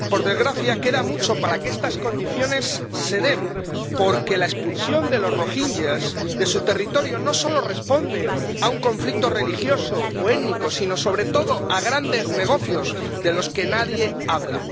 Por desgracia, queda mucho para que estas condiciones se den, porque la expulsión de los rohinyás de su territorio no solo responde a un conflicto religioso o étnico, sino, sobre todo, a grandes negocios de los que nadie habla.